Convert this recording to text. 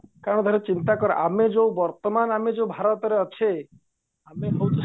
କାରଣ ଠାରେ ଚିନ୍ତାକର ଆମେ ଯୋଉ ବର୍ତମାନ ଆମେ ଯୋଉ ଭାରତରେ ଅଛେ ଆମେ ହଉଛେ